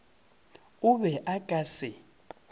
o be a ka se